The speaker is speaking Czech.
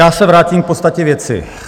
Já se vrátím k podstatě věci.